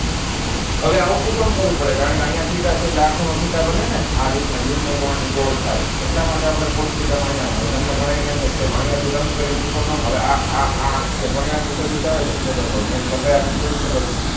હવે આવું શુ કામ કરવું પડે કારણ કે આયા theta છે એટલે આ ખૂણો theta બને ને આ રીતનાં યુગ્મ કોણ ની જોડ થાય એટલા માટે cos theta ને આયા હવે તમને ઘણાયને એમ થાય સાહેબ આયા થી લંબ કરીને ત્રિકોણ ના હવે આ આ આ જે સદિસ આવે એના ક્ષેત્રફળ ની લંબાઈ આપણને થોડી ખબર છે